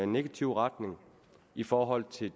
negativ retning i forhold til